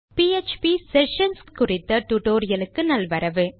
PHP sessions குறித்த டுடோரியலுக்கு நல்வரவு